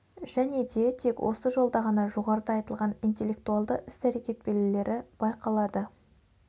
және де тек осы жолда ғана жоғарыда айтылған интеллектуалды іс-әрекет белгілері байқалады